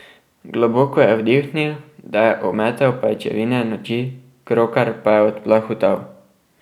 Globoko je vdihnil, da je ometel pajčevine noči, krokar pa je odplahutal.